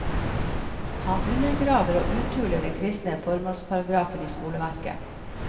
Han undergraver og uthuler den kristne formålsparagrafen i skoleverket.